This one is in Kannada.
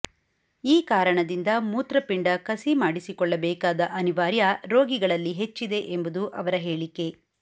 ಈ ಕಾರಣದಿಂದ ಮೂತ್ರಪಿಂಡ ಕಸಿ ಮಾಡಿಸಿಕೊಳ್ಳಬೇಕಾದ ಅನಿವಾರ್ಯ ರೋಗಿಗಳಲ್ಲಿ ಹೆಚ್ಚಿದೆ ಎಂಬುದು ಅವರ ಹೇಳಿಕೆ